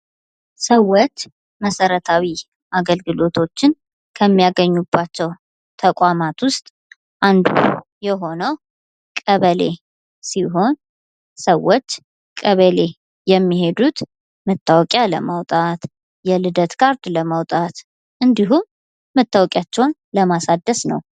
ሰዎች መሰረታዊ አገልግሎቶችን ከሚያገኙባቸዉ ተቋማት ዉስጥ አንዱ የሆነዉ ቀበሌ ሲሆን ሰዎች ቀበሌ የሚሄዱት መታወቂያ ለማዉጣት፣ የልደት ካርድ ለማዉጣት እንዲሁም መታወቂያቸዉን ለማሳደስ ነዉ።